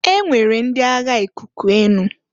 E nwere ndi agha ikuku/enu.